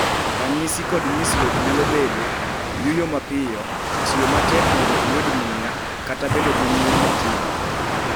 ranyisi kod nyisruok nyalo bedo: Yuyo mapiyo, tiyo matek mondo iyud muya, kata bedo gi muya matindo.